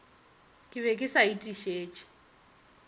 ke be ke sa etišitše